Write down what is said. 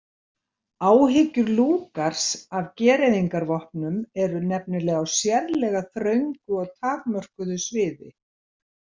Áhyggjur Lugars af gereyðingarvopnum eru nefnilega á sérlega þröngu og takmörkuðu sviði.